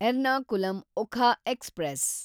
Ernakulam Okha express